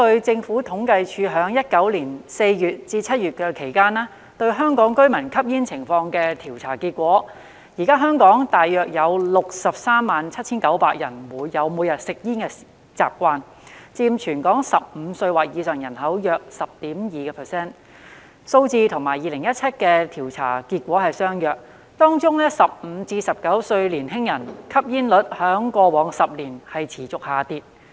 政府統計處於2019年4月至7月就香港居民吸煙情況進行調査，結果顯示現時香港約有 637,900 人有每天吸煙的習慣，佔全港15歲或以上人口約 10.2%， 數字與2017年的調査結果相若；當中15歲至19歲年輕人的吸煙率在過往10年持續下跌。